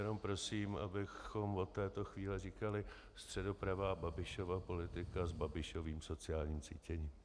Jenom prosím, abychom od této chvíle říkali středopravá Babišova politika s Babišovým sociálním cítěním.